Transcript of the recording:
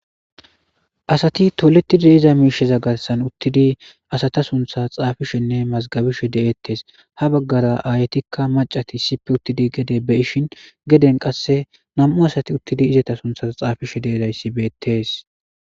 asati toletidi iza miisheza garsan uttidi asata suntha xaafishenne mazgabishe de7ettes ha baggara aaytikka macati ssippe uttidi gede be ishin geden qasse nam7u asati uttidi izata suntha xaafishe deedayssi beettes